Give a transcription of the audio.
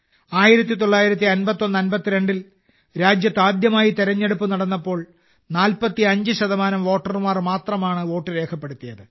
195152 ൽ രാജ്യത്ത് ആദ്യമായി തിരഞ്ഞെടുപ്പ് നടന്നപ്പോൾ 45 ശതമാനം വോട്ടർമാർ മാത്രമാണ് വോട്ട് രേഖപ്പെടുത്തിയത്